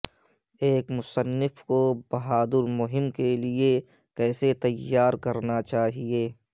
ایک مصنف کو بہادر مہم کے لئے کیسے تیار کرنا چاہئے